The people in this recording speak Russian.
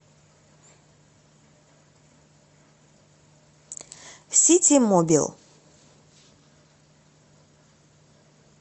ситимобил